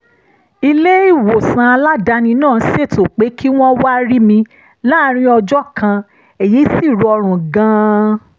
ilé-ìwòsàn aládàáni náà ṣètò pé kí wọ́n wá rí mi láàárín ọjọ́ kan èyí sì rọrùn gan-an